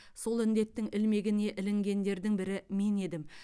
сол індеттің ілмегіне ілінгендердің бірі мен едім